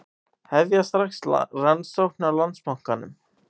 Hefja strax rannsókn á Landsbankanum